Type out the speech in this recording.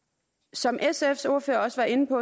som sfs ordfører også var inde på